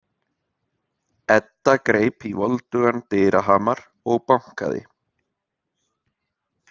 Edda greip í voldugan dyrahamar og bankaði.